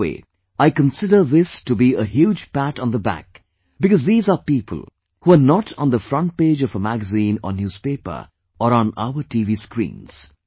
In a way, I consider this to be a huge pat on the back because these are people who are not on the front page of a Magazine or Newspaper or on our TV screens